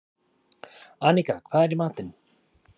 Anika, hvað er í matinn?